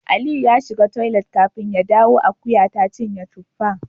Aliyu ya shiga toilet kafin ya dawo akuya ta cinye tuffa